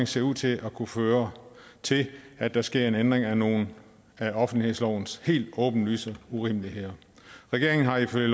ser ud til at kunne føre til at der sker en ændring af nogle af offentlighedslovens helt åbenlyse urimeligheder regeringen har ifølge